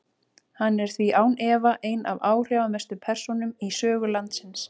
Hann er því án efa ein af áhrifamestu persónum í sögu landsins.